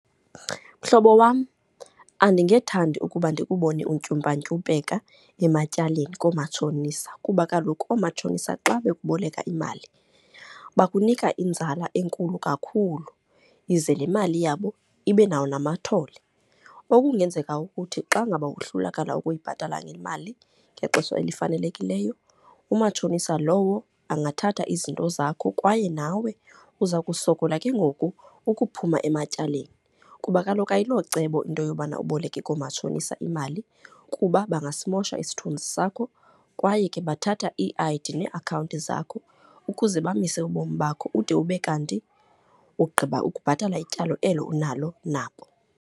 Mhlobo wam, andingethandi ukuba ndikubone untyumpantyumpeke ematyaleni koomatshonisa, kuba kaloku oomatshonisa xa bekuboleka imali bakunika inzala enkulu kakhulu ize le mali yabo ibe nawo namathole. Okungenzeka ukuthi xa ngaba wohlulakala ukubhatala le mali ngexesha elifanelekileyo, umatshonisa lowo angathatha izinto zakho. Kwaye nawe uza kusokola ke ngoku ukuphuma ematyaleni, kuba kaloku ayilocebo into yobana uboleke koomatshonisa imali kuba bangasimosha isithunzi sakho kwaye ke bathatha ii-I_D neeakhawunti zakho ukuze bamise ubomi bakho ude ube kanti ugqiba ukubhatala ityala elo unalo nabo.